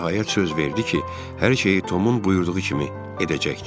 O nəhayət söz verdi ki, hər şeyi Tomun buyurduğu kimi edəcəkdir.